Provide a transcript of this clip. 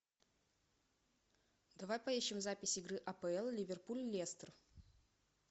давай поищем запись игры апл ливерпуль лестер